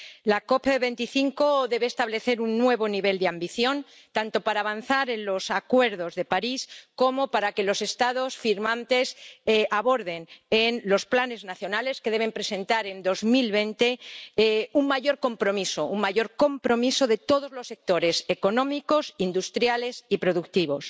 La COP 25 debe establecer un nuevo nivel de ambición tanto para avanzar en los acuerdos de París como para que los Estados firmantes aborden en los planes nacionales que deben presentar en 2020 un mayor compromiso de todos los sectores, económicos, industriales y productivos.